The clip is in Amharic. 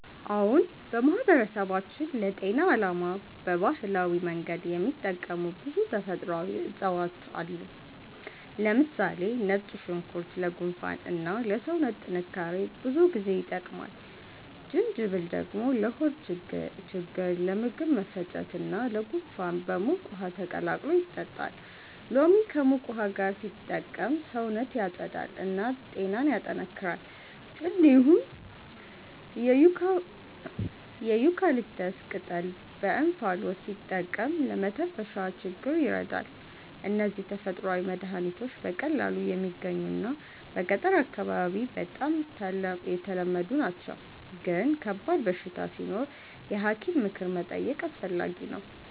አዎን፣ በማህበረሰባችን ለጤና ዓላማ በባህላዊ መንገድ የሚጠቀሙ ብዙ ተፈጥሯዊ እፅዋት አሉ። ለምሳሌ ነጭ ሽንኩርት ለጉንፋን እና ለሰውነት ጥንካሬ ብዙ ጊዜ ይጠቀማል። ጅንጅብል ደግሞ ለሆድ ችግኝ፣ ለምግብ መፈጨት እና ለጉንፋን በሙቅ ውሃ ተቀላቅሎ ይጠጣል። ሎሚ ከሙቅ ውሃ ጋር ሲጠቀም ሰውነትን ያጸዳል እና ጤናን ያጠናክራል። እንዲሁም የዩካሊፕተስ ቅጠል በእንፋሎት ሲጠቀም ለመተንፈሻ ችግኝ ይረዳል። እነዚህ ተፈጥሯዊ መድሀኒቶች በቀላሉ የሚገኙ እና በገጠር አካባቢ በጣም ተለመዱ ናቸው፣ ግን ከባድ በሽታ ሲኖር የሐኪም ምክር መጠየቅ አስፈላጊ ነው።